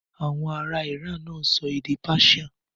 Àwọn ará Iran náà ń sọ èdè Persian.